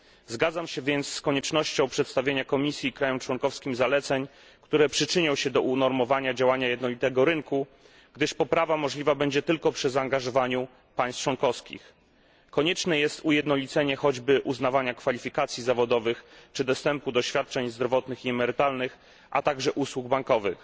Zgadzam się więc z koniecznością przedstawienia Komisji i państwom członkowskim zaleceń, które przyczynią się do unormowania działania jednolitego rynku, gdyż poprawa możliwa będzie tylko przy zaangażowaniu państw członkowskich. Konieczne jest ujednolicenie choćby uznawania kwalifikacji zawodowych czy dostępu do świadczeń zdrowotnych i emerytalnych, a także usług bankowych.